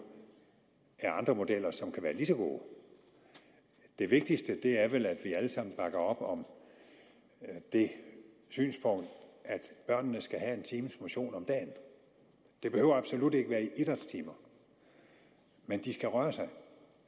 er andre modeller som kan være lige så gode det vigtigste er vel at vi alle sammen bakker op om det synspunkt at børnene skal have en times motion om dagen det behøver absolut ikke være i idrætstimer men de skal røre sig